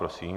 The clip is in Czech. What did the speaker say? Prosím.